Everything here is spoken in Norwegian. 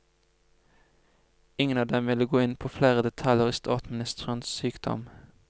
Ingen av dem ville gå inn på flere detaljer i statsministerens sykdom.